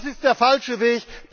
Das ist der falsche